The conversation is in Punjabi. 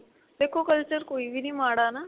ਦੇਖੋ culture ਕੋਈ ਵੀ ਨੀ ਮਾੜਾ ਨਾ.